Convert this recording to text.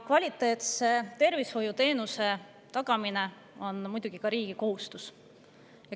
Kvaliteetse tervishoiuteenuse tagamine on muidugi ka riigi kohustus.